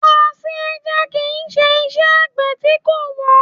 Ọ̀sìn ẹja kìí Ṣé iṣẹ́ Àgbẹ̀ tí kò wọ́n.